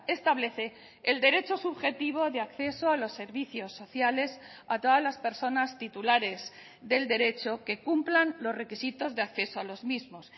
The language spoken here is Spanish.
establece el derecho subjetivo de acceso a los servicios sociales a todas las personas titulares del derecho que cumplan los requisitos de acceso a los mismos